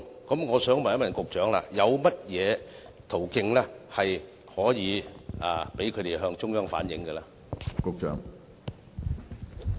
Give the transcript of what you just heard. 我想問局長，有甚麼途徑可以讓他們向中央反映意見呢？